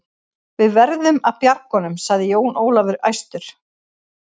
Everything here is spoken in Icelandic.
Við verðum að bjarga honum, sagði Jón Ólafur æstur.